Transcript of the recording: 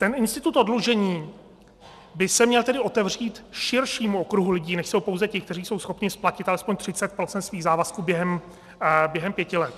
Ten institut oddlužení by se měl tedy otevřít širšímu okruhu lidí, než jsou pouze ti, kteří jsou schopni splatit alespoň 30 % svých závazků během pěti let.